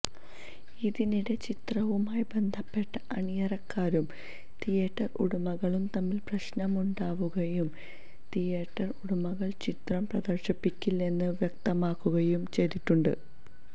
ഇതിനിടെ ചിത്രവുമായി ബന്ധപ്പെട്ട അണിയറക്കാരും തിയേറ്റര് ഉടമകളും തമ്മില് പ്രശ്നമുണ്ടാവുകയും തേയറ്റര് ഉടമകള് ചിത്രം പ്രദര്ശിപ്പിക്കില്ലെന്ന് വ്യക്തമാക്കുകയും ചെയ്തിട്ടുണ്ട്